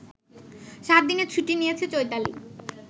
সাতদিনের ছুটি নিয়েছে চৈতালি